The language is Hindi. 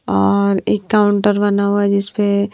और एक काउंटर बना हुआ है जिस पे--